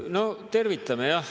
Noh, tervitame jah.